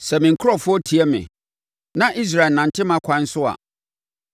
“Sɛ me nkurɔfoɔ tie me, na Israel nante mʼakwan so a,